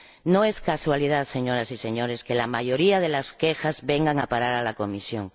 No es casualidad, señoras y señores, que la mayoría de las quejas vengan a parar a la Comisión.